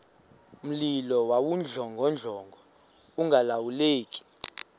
mlilo wawudlongodlongo ungalawuleki